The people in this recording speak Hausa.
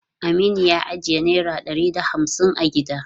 Aminu ya ajiye naira ɗari da hamsin a gida.